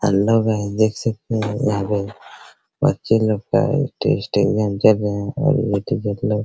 hello guys देख सकते यहाँ पे बच्चे लोग का टेस्ट एग्जाम चल रहा है --